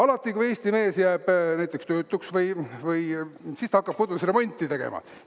Alati, kui Eesti mees jääb näiteks töötuks, siis ta hakkab kodus remonti tegema.